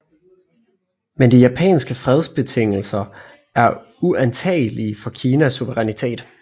Men de japanske fredsbetingelser er uantagelige for Kinas suverænitet